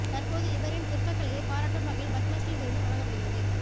தற்போது இவரின் சிற்பக்கலையை பாராட்டும் வகையில் பத்ம ஸ்ரீ விருது வழங்கப்படுகிறது